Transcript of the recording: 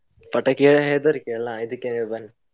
ಪಟಾಕಿಯ ಹೆದ್ರಿಕೆ ಅಲ್ಲ, ಇದಕ್ಕಾದ್ರೂ ಬನ್ನಿ.